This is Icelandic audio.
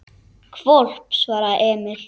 Hvolp, svaraði Emil.